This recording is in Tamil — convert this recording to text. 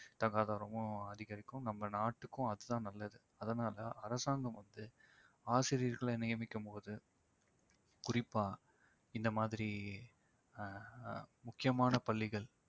தராதரமும் அதிகரிக்கும் நம்ம நாட்டுக்கும் அதுதான் நல்லது. அதனால அரசாங்கம் வந்து ஆசிரியர்களை நியமிக்கும் போது குறிப்பா இந்த மாதிரி அஹ் ஆஹ் முக்கியமான பள்ளிகள்